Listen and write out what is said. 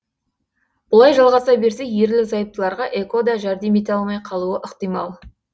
бұлай жалғаса берсе ерлі зайыптыларға эко да жәрдем ете алмай қалуы ықтимал